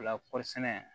O la kɔɔri sɛnɛ